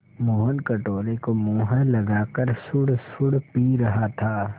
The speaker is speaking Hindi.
मोहन कटोरे को मुँह लगाकर सुड़सुड़ पी रहा था